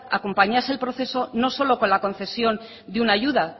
acompañase el proceso no solo con la concesión de una ayuda